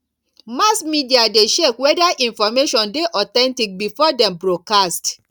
mass media de check whether information de authentic before dem broadcast